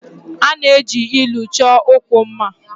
A na-eji ilu chọọ okwu mma